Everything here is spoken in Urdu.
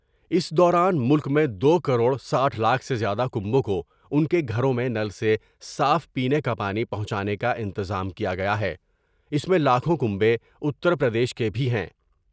اس دوران ملک میں دو کروڑ ساٹھ لاکھ سے زیادہ کنبوں کو ان کے گھروں میں نل سے صاف پینے کا پانی پہونچانے کا انتظام کیا گیا ہے ، اس میں لاکھوں کنبے اتر پردیش کے بھی ہیں